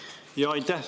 Aitäh!